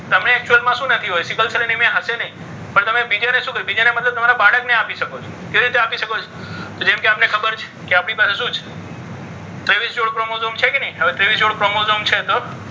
તમે actual માં શું નથી હોય. સિકલ સેલ અને મિયા હશે નહીં પણ તમે મતલબ તમારા બાળકને આપી શકો છો. કેવી રીતે આપી શકો છો? જેમ કે આપણને ખબર છે કે આપણી પાસે શું છે તેવીસ જોડ ક્રોમોઝોમ છે કે નહીં આવે તેવીસ જોડ ક્રોમોઝોમ છે તો,